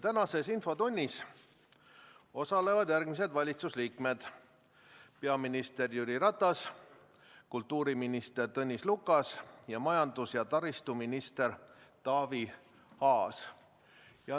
Tänases infotunnis osalevad järgmised valitsuse liikmed: peaminister Jüri Ratas, kultuuriminister Tõnis Lukas ning majandus- ja taristuminister Taavi Aas.